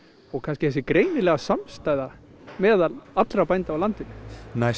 og kannski þessi greinilega samstaða meðal allra bænda á landinu næsta